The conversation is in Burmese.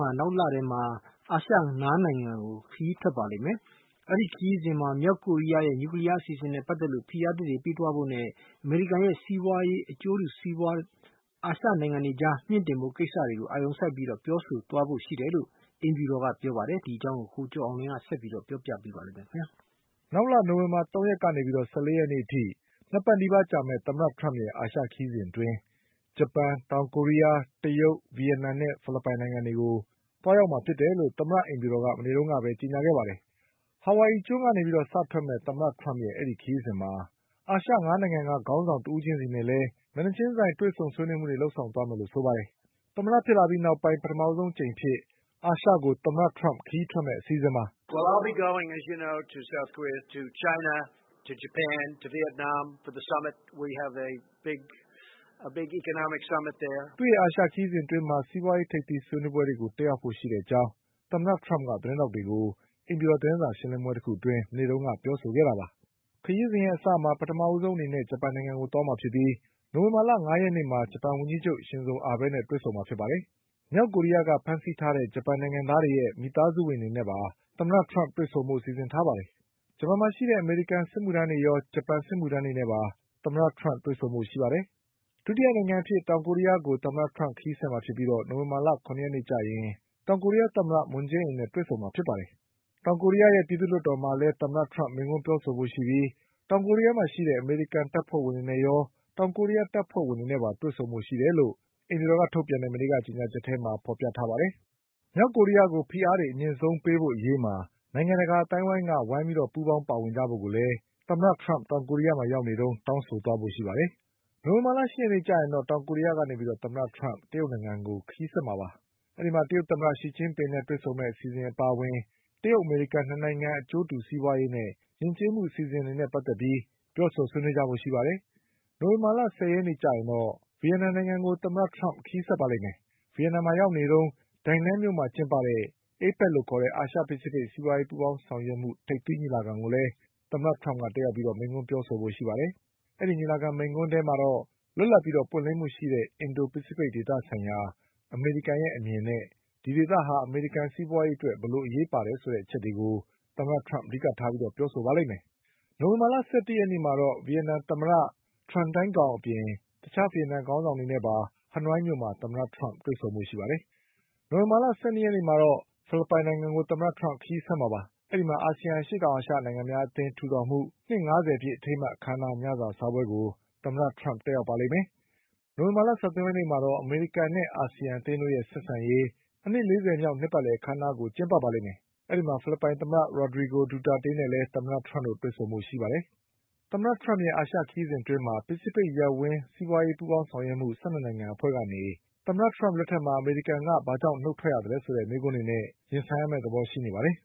ဟာ နောက်လထဲမှာ အာရှ ၅နိုင်ငံကို ခရီးထွက်ပါလိမ့်မယ်။ အဲဒီခရီးစဉ်မှာ မြောက်ကို ရီးယားရဲ့ နျူကလီးယားအစီအစဉ်နဲ့ပတ်သက်ပြီး ဖိအားသစ်တွေထပ်ပေးဖို့နဲ့ အမေရိကန်ရဲ့ စီးပွါးရေးအကျိုးစီးပွါး အာရှ နိုင်ငံအတွေအကြား မြှင့်တင်ဖို့ကိစ္စတွေကို အာရုံစိုက်ပြီး ပြောဆိုဆွေးနွေးသွားဖို့ရှိတယ်လို့ အိမ်ဖြူတော်ကကြေညာပါ တယ်။ ဒီအကြောင်း ကိုကျော်အောင်လွင်က ဆက်ပြီးပြောပါလိမ့်မယ်။ နောက်လ နိုဝင်ဘာ၃ရက်ကနေ ၁၄ရက်နေ့အထိ ၂ပတ်နီးပါးကြာမယ့် သမ္မတထရမ့်ရဲ့အာရှခရီးစဉ်အတွင်း ဂျပန်၊ တောင်ကိုရီးယား၊ တရုတ်၊ ဗီယက်နမ်နဲ့ ဖိလစ်ပိုင်တွေကိုသွားရောက်မှာဖြစ်တယ်လို့ သမ္မတအိမ်ဖြူတော်က မနေ့ကပဲ ကြေညာခဲ့ပါတယ်။ ဟာဝိုင်အီကျွန်း ကနေစထွက်မယ့် သမ္မတထရမ့်ရဲ့အဲဒီခရီးစဉ်မှာ အာရှ၅နိုင်ငံကခေါင်းဆောင်တဦး ချင်းစီနဲ့ မျက်နှာချင်းဆိုင်တွေ့ဆုံ ဆွေးနွေးမှုတွေလည်း လုပ်ဆောင်သွားမယ်လို့ဆိုပါတယ်။ သမ္မတဖြစ်ပြီးနောက်ပိုင်း ပထမဆုံးအကြိမ်အဖြစ် အာရှကို သမ္မတထရမ့်ခရီးထွက်မယ့်အစီအစဉ်ပါ။ သူ့ရဲ့အာရှခရီးစဉ်အတွင်း စီးပွါးရေးထိပ်သီးဆွေးနွေးပွဲတွေကို တက်ရောက်ဖို့ရှိတဲ့အကြောင်း သမ္မတထရမ့်က သတင်းထောက်တွေကို အိမ်ဖြူတော်သတင်းစာရှင်းလင်းပွဲတခုအတွင်း မနေ့ကပြောဆိုခဲ့တာပါ။ ခရီးစဉ်အစမှာ ပထမဆုံး ဂျပန်နိုင်ငံကိုသွားမှာဖြစ်ပြီး နိုဝင်ဘာလ ၅ရက်နေ့မှာ ဂျပန်ဝန်ကြီးချုပ် ရှင်ဇိုအာဘဲနဲ့တွေ့ဆုံမှာဖြစ်ပြီး မြောက် ကိုရီးယားကဖမ်းဆီးခဲ့တဲ့ ဂျပန်နိုင်ငံသားတွေရဲ့မိသားစုဝင်တွေနဲ့ပါ သမ္မတထရမ့်က တွေ့ဆုံဖို့ စီစဉ်ထားပါတယ်။ ဂျပန် မှာရှိတဲ့ အမေရိကန်စစ်မှုထမ်းတွေရော ဂျပန်စစ်မှုထမ်းတွေနဲ့ပါ သမ္မတထရမ့်တွေ့ဆုံဖို့ရှိပါတယ်။ ဒုတိယနိုင်ငံအဖြစ် တောင်ကိုရီးယားကို ခရီးဆက်မှာဖြစ်ပြီး နိုဝင်ဘာ ၇ရက်နေ့ကျရင် တောင်ကိုရီးယားသမ္မတ မွန်းဂျေးအင်နဲ့တွေ့ဆုံမှာ ပါ။ တောင်ကိုရီးယား ပြည်သူ့လွှတ်တော်မှာလည်း သမ္မတထရမ့်မိန့်ခွန်းပြောဖို့ရှိပြီး တောင်ကိုရီးယားမှာရှိတဲ့ အမေရိ ကန်တပ်ဖွဲ့ဝင်တွေနဲ့ရော တောင်ကိုရီးယားတပ်ဖွဲ့ဝင်တွေနဲ့ပါတွေ့ဆုံဖို့ရှိတယ်လို့ အိမ်ဖြူတော် ကြေညာချက်မှာ ဖေါ်ပြထားပါတယ်။ မြောက်ကိုရီးယားကို ဖိအားတွေအမြင့်ဆုံး ပေးဖို့အရေးမှာ နိုင်ငံတကာအသိုင်းအဝိုင်းက ပူးပေါင်းပါ ဝင်ကြဖို့ကိုလည်း သမ္မတထရမ့်တောင်ကိုရီးယားမှာရောက်နေတုန်း တောင်းဆိုသွားကြဖို့ရှိပါတယ်။ နိုဝင်ဘာလ ၈ရက်နေ့မှာ တောင်ကိုရီးယားကနေ တရုတ်နိုင်ငံကို သမ္မတထရမ့်ခရီးဆက်မှာဖြစ်ပြီး တရုတ်သမ္မတ ရှီကျင်း ပင်နဲ့တွေ့ဆုံမယ့် အစီအစဉ်အပါအဝင် တရုတ်အမေရိကန်၂နိုင်ငံအကျိုးတူစီးပွါးရေးနဲ့ယဉ်ကျေးမှုအစီအစဉ်တွေနဲ့ပတ် သက်ပြီးပြောဆိုဆွေးနွေးကြဖို့ရှိပါတယ်။ နိုဝင်ဘာ ၁၀ရက်နေ့ကျရင်တော့ ဗီယက်နမ်နိုင်ငံကို သမ္မတထရမ့်ခရီးဆက်ပါ လိမ့်မယ်။ ဗီယက်နမ်မှာရောက်နေတုန်း Danang မြို့မှာကျင်းပတဲ့ APEC အာရှဖိစိဖိတ်စီးပွါးရေးပူးပေါင်းဆောင်ရွက်မှု ထိပ်သီးညီလာခံကိုလည်း သမ္မတထရမ့်ကတက်ရောက်ပြီးမိန့်ခွန်းပြောဆိုဖို့ရှိပါတယ်။ အဲဒီညီလာခံမိန့်ခွန်းထဲမှာတော့ လွတ်လပ်ပြီးပွင့်လင်းမှုရှိတဲ့ အင်ဒိုဖိစိဖိတ်ဒေသဆိုင်ရာ အမေရိကန်ရဲ့အမြင်နဲ့ ဒီဒေသဟာ အမေရိကန်စီးပွါးရေး အတွက် ဘယ်လိုအရေးပါတယ်ဆို တဲ့အချက်တွေကို အဓိကထားပြောဆိုပါလိမ့်မယ်။ နိုဝင်ဘာ၁၁ရက်နေ့မှာတော့ ဗီယက်နမ်သမ္မတ Tran Dai Quangအပြင် တခြားဗီယက်နမ်ခေါင်းဆောင်တွေနဲ့ပါ ဟနွိုင်းမြို့မှာ သမ္မတထရမ့် တွေ့ ဆုံဖို့ရှိပါတယ်။ နိုဝင်ဘာလ ၁၂ရက်နေ့ကျရင်တော့ ဖိလစ်ပိုင်နိုင်ငံကို ခရီးဆက်မှာဖြစ်ပြီး အဲဒီမှာ အာဆီယံအရှေ့တောင်အာရှနိုင်ငံများ အသင်းထူထောင်မှုနှစ်၅ဆယ်ပြည့်အထိမ်းအမှတ်အခမ်းအနားညစာစားပွဲကို သမ္မတထရမ့်တက်ရောက်ပါလိမ့်မယ်။ နိုဝင် ဘာ၁၃ရက်နေ့မှာတော့ အမေရိကန်နဲ့အာဆီယံအသင်းတို့ရဲ့ဆက်ဆံရေး အနှစ်၄၀မြောက်အခမ်းအနားကိုကျင်းပပါ လိမ့်မယ်။ အဲဒီမှာ ဖိလစ်ပိုင်သမ္မတ Rodrigo Duterte နဲ့သမ္မတထရမ့်တို့တွေ့ဆုံကြပါလိမ့်မယ်။ သမ္မတထရမ့်ရဲ့အာရှခရီးစဉ်အတွင်း ပစိဖိတ်ရပ်ဝန်း စီးပွါးရေး ပူးပေါင်းဆောင်ရွက်မှု ၁၂နိုင်ငံအဖွဲ့ကနေ အမေရိကန်က ဘာကြောင့် ထွက်သွားရသလဲဆိုတဲ့မေးခွန်းတွေနဲ့ သမ္မတထရမ့် ရင်ဆိုင်ရမယ့်သဘောရှိနေပါတယ်။